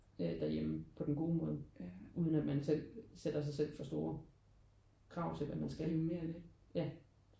Derhjemme på den gode måde uden at man selv sætter sig selv for store krav til hvad man skal ja